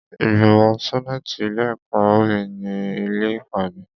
Ìgbìmọ̀ sẹ́nàtì ilé ẹ̀kọ́ mi ni ilé ìpàdé.